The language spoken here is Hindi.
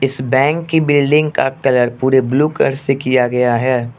इस बैंक की बिल्डिंग का कलर पूरे ब्लू कलर से किया गया है।